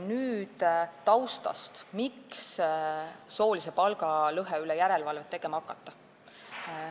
Nüüd taustast, miks soolise palgalõhe üle järelevalvet tegema hakata.